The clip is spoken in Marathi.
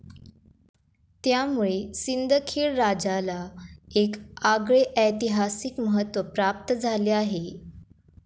त्यामुळे सिंदखेड राजाला एक आगळे ऐतिहासिक महत्व प्राप्त झाले आहे.